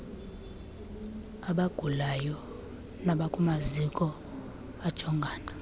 abagulayo nabakumaziko ajongana